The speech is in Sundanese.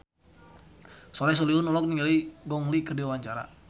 Soleh Solihun olohok ningali Gong Li keur diwawancara